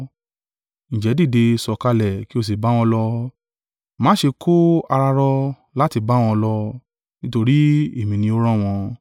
Ǹjẹ́ dìde, sọ̀kalẹ̀ kí ó sì bá wọn lọ, má ṣe kó ara ró láti bá wọn lọ, nítorí èmi ni ó rán wọn.”